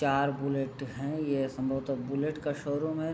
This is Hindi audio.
चार बुलेट है ये संभवतः बुलेट का शोरूम है ।